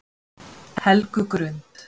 Helgugrund